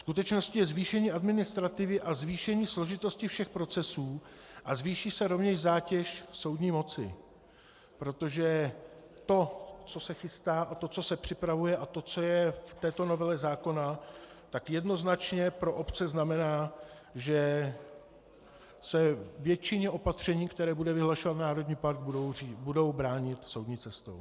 Skutečností je zvýšení administrativy a zvýšení složitosti všech procesů a zvýší se rovněž zátěž soudní moci, protože to, co se chystá, a to, co se připravuje, a to, co je v této novele zákona, tak jednoznačně pro obce znamená, že se většině opatření, která bude vyhlašovat národní park, budou bránit soudní cestou.